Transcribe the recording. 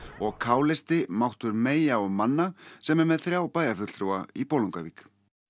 og k listi máttur meyja og manna sem er með þrjá bæjarfulltrúa í Bolungarvík